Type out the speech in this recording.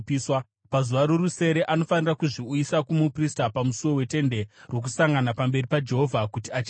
“Pazuva rorusere anofanira kuzviuyisa kumuprista pamusuo weTende Rokusangana pamberi paJehovha, kuti acheneswe.